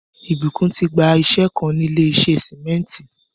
Ìbùkún ti gbà íṣẹ̀ kàn ni ilẹ̀ ìṣẹ̀ símẹ̀ntì.